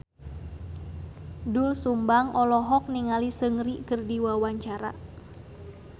Doel Sumbang olohok ningali Seungri keur diwawancara